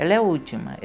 Ela é a última.